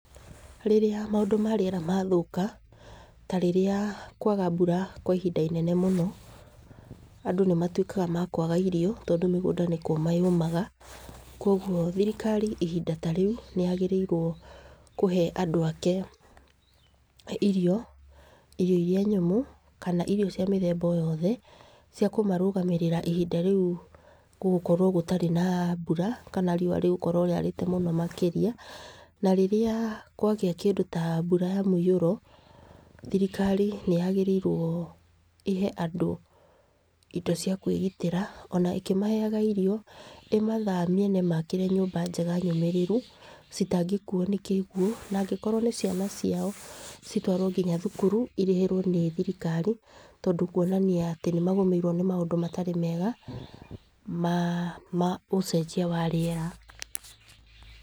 Rĩrĩa maũndũ ma rĩera mathũka ta rĩrĩa kwaga mbura kwa ihinda inene mũno, andũ nĩ matwĩkaga ma kwaga irio, tondũ mĩgũnda nĩ kũma yũmaga. Kogwo thirikari ihinda ta rĩu nĩ yagĩrĩirwo kũhee andũ ake irio, irio iria nyũmũ, kana irio cia mĩthemba o yothe cia kũmarũgamĩrĩra ihinda rĩu gũgũkorwo gũtarĩ na mbura kana rĩũa rĩgũkorwo rĩarĩte mũno makĩrĩa. Na rĩrĩa kwagĩa kĩndũ ta mbura ya mũiyũro thirikari nĩ yagĩrĩirwo ĩhe andũ indo cia kwĩgitĩra, ona ĩkĩmaheaga irio, ĩmathamie na ĩmakĩre nyũmba njega nyũmĩrĩru citangĩkuo na kĩguũ, na angĩkorwo nĩ ciana ciao citwarwo nginya thukuru irĩhĩrwo nĩ thirikari, tondũ kwonania atĩ nĩ magũmĩirwo nĩ maũndũ matarĩ mega ma ũcenjia wa rĩera.